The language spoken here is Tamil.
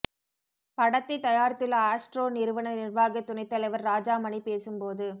படத்தை தயாரித்துள்ள ஆஸ்ட்ரோ நிறுவன நிர்வாகத் துணைத்தலைவர் ராஜாமணி பேசும் போது